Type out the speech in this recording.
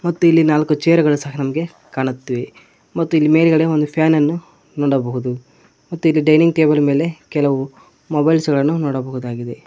ಮತ್ತು ಇಲ್ಲಿ ನಾಲ್ಕು ಚೇರ್ ಗಳು ಸಹ ನಮಗೆ ಕಾಣುತ್ತಿವೆ ಮತ್ತು ಇಲ್ಲಿ ಮೇಲ್ಗಡೆ ಒಂದು ಫ್ಯಾನ್ ಅನ್ನು ನೋಡಬಹುದು ಮತ್ತು ಇಲ್ಲಿ ಡೈನಿಂಗ್ ಟೇಬಲ್ಸ್ ಮೇಲೆ ಕೆಲವು ಮೊಬೈಲ್ ಗಳನ್ನು ನೋಡಬಹುದು.